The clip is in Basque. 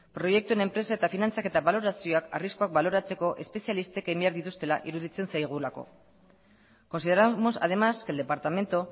proiektuen enpresa eta finantzaketa balorazioak arriskuak baloratzeko espezialistek egin behar dituztela iruditzen zaigulako consideramos además que el departamento